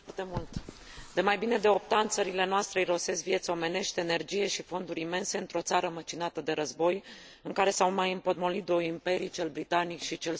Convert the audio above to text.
De mai bine de opt ani, țările noastre irosesc vieți omenești, energie și fonduri imense într o țară măcinată de război, în care s au mai împotmolit două imperii cel britanic și cel sovietic.